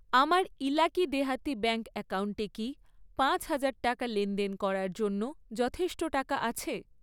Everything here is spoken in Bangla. আমার ইলাকি দেহাতি ব্যাঙ্ক অ্যাকাউন্টে কি পাঁচ হাজার টাকা লেনদেন করার জন্য যথেষ্ট টাকা আছে?